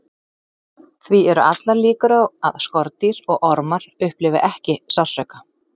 Því eru allar líkur á að skordýr og ormar upplifi ekki sársauka.